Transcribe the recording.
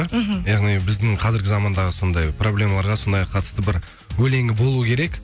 мхм яғни біздің қазіргі замандағы сондай проблемаларға сондайға қатысты бір өлеңі болуы керек